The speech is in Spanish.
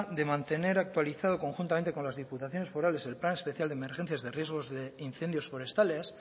de mantener actualizado conjuntamente con las diputaciones forales el plan especial de emergencias de riesgos de incendios forestales